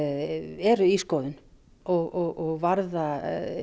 eru í skoðun og varða